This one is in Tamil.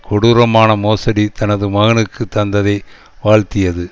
கொடூரமான மோசடி தனது மகனுக்கு தந்ததை வாழ்த்தியது